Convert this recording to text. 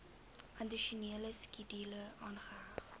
addisionele skedule aangeheg